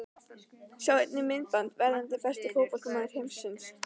Sjá einnig: Myndband: Verðandi besti fótboltamaður heims?